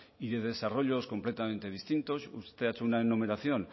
y de desarrollos completamente distintos usted ha hecho una enumeración